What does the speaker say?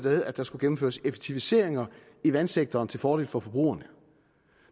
at der skulle gennemføres effektiviseringer i vandsektoren til fordel for forbrugerne